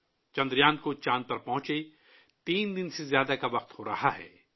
چندریان کو چاند پر پہنچے تین دن سے زیادہ ہو گئے ہیں